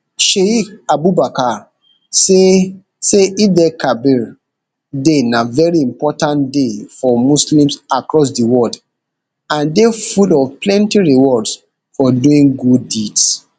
sheik abubakar say say eidelkabir day na veri important day for muslims across di world and day full of plenty rewards for doing good deeds